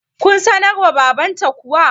kun sanar wa babanta kuwa?